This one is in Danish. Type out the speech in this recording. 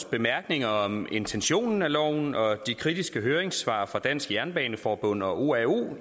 bemærkninger om intentionen med loven og de kritiske høringssvar fra dansk jernbaneforbund og oao